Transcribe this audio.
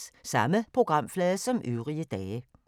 Samme programflade som øvrige dage